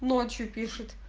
ночью пишет